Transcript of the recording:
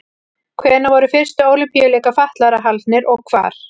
Hvenær voru fyrstu Ólympíuleikar fatlaðra haldnir og hvar?